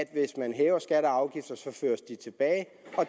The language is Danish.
at hvis man hæver skatter og afgifter føres de tilbage